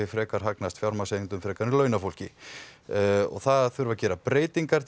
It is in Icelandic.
frekar hagnast fjármagnseigendum frekar en launafólki þar þarf að gera breytingar til